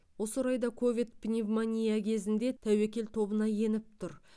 осы орайда ковид пневмония кезінде тәуекел тобына еніп тұр